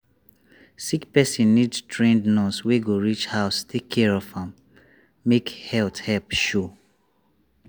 sick person need trained nurse wey go reach house take care am make health help show.